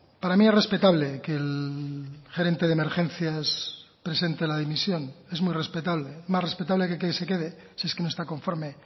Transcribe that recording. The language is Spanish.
para mí es respetable que el gerente de emergencias presente la dimisión es muy respetable más respetable que que se quede si es que no está conforme